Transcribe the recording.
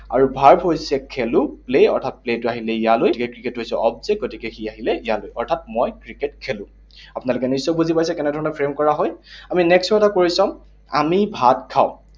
আৰু verb হৈছে খেলো, play অৰ্থাৎ play টো আহিলে ইয়ালৈ। এতিয়া ক্ৰিকেটটো হৈছে object, গতিকে সি আহিলে ইয়ালৈ। অৰ্থাৎ মই ক্ৰিকেট খেলো। আপোনালোকে নিশ্চয় বুলি পাইছে কেনেধৰণে frame কৰা হয়? আমি next ও এটা কৰি চাম। আমি ভাত খাওঁ।